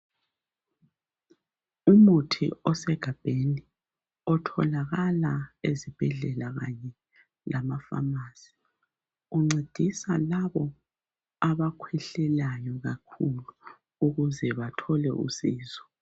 Umuthi osegabheni otholakala ezibhedlela kanye lamafamasi uncedisa labo abakhwehlelayo kakhulu ukuze bathole usizo.